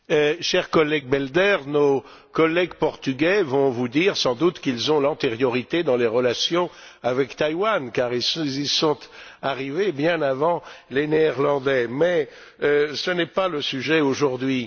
Monsieur le Président, cher collègue Belder, nos collègues portugais vont vous dire, sans doute, qu'ils ont l'antériorité dans les relations avec Taïwan car ils y sont arrivés bien avant les Néerlandais, mais ce n'est pas le sujet aujourd'hui.